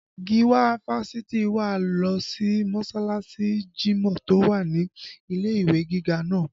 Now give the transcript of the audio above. Giwa fásitì wa lọ sí mọsalasi jimọ tó wà ní ilé ìwé gíga náà